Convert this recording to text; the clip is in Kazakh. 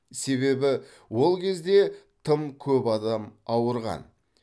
себебі ол кезде тым көп адам ауырған